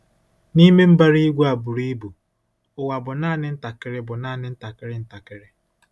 N'ime mbara igwe a buru ibu, ụwa bụ naanị ntakịrị bụ naanị ntakịrị ntakịrị.